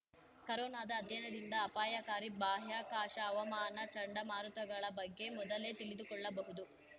ಕರೊನಾದ ಅಧ್ಯಯನದಿಂದ ಅಪಾಯಕಾರಿ ಬಾಹ್ಯಾಕಾಶ ಹವಾಮಾನ ಚಂಡಮಾರುತಗಳ ಬಗ್ಗೆ ಮೊದಲೇ ತಿಳಿದುಕೊಳ್ಳಬಹುದು